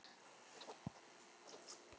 Elsku amma, hvíl í friði.